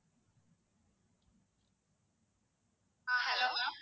ah hello ma'am